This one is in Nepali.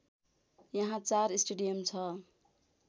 यहाँ चार स्टेडियम छ